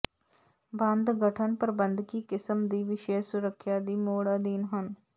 ਬੰਦ ਗਠਨ ਪ੍ਰਬੰਧਕੀ ਕਿਸਮ ਦੀ ਵਿਸ਼ੇਸ਼ ਸੁਰੱਖਿਆ ਦੀ ਮੋਡ ਅਧੀਨ ਹਨ